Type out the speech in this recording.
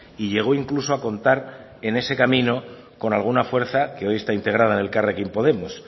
y llego incluso a contar en ese camino con alguna fuerza que hoy está integrada en elkarrekin podemos